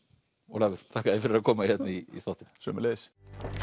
Ólafur þakka þér fyrir að koma hérna í þáttinn sömuleiðis